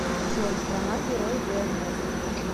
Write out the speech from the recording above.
джой страна герой днр